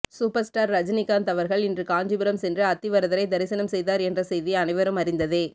super star Rajinikanth அவர்கள் இன்று காஞ்சிபுரம் சென்று அத்தி வரதரை தரிசனம் செய்தார் என்ற செய்தியை அனைவரும் அறிந்ததே